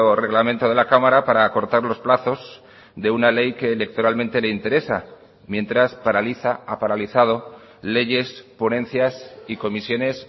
reglamento de la cámara para acortar los plazos de una ley que electoralmente le interesa mientras paraliza ha paralizado leyes ponencias y comisiones